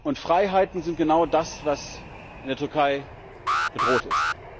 Und Freiheiten sind genau das, was in der Türkei bedroht ist.